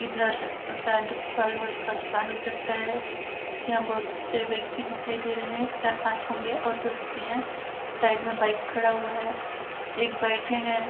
इधर शायद फलवल का दुकान हो सकता है यहां बहुत से व्यक्ति दिखाई दे रहे हैं चार पांच होंगे और भी हो सकते हैं साइड में बाइक खड़ा हुआ है एक बैठे हैं।